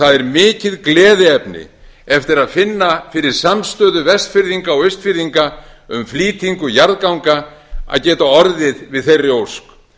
það er mikið gleðiefni eftir að finna fyrir samstöðu vestfirðinga og austfirðinga um flýtingu jarðganga að geta orðið við þeirri ósk